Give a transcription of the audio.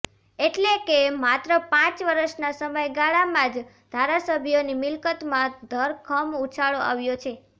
એટલે કે માત્ર પાંચ વર્ષના સમયગાળામાં જ ધારાસભ્યોની મિલકતમાં ધરખમ ઉછાળો આવ્યો છે